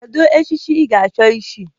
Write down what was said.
Kedu echichi ị ga-achọ ịchị?